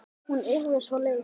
Hún yrði svo leið.